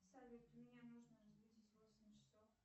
салют меня нужно разбудить в восемь часов